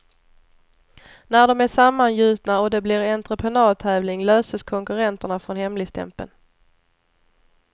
När de är sammangjutna och det blir entreprenadtävling löses konkurrenterna från hemligstämpeln.